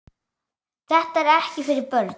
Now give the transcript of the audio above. Þetta er ekki fyrir börn.